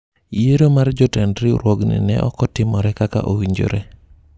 yiero mar jotend riwruogni ne ok otimore kaka owinjore